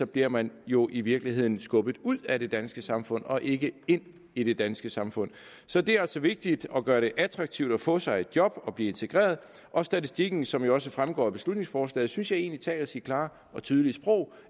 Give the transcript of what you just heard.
bliver man jo i virkeligheden skubbet ud af det danske samfund og ikke ind i det danske samfund så det er altså vigtigt at gøre det attraktivt at få sig et job og blive integreret og statistikken som jo også fremgår af beslutningsforslaget synes jeg egentlig taler sit klare og tydelige sprog